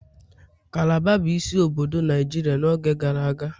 Calabar bụ isi obodo Naijiria n'oge gara aga